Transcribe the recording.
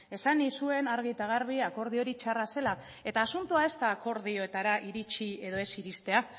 esan nizuen argi eta garbi akordio hori txarra zela eta asuntoa ez da akordioetara iritsi edo ez iristea